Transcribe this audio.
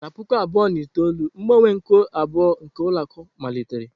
Na puku abụọ na itoolu, mgbanwe nke abụọ nke ụlọ akụ malitere.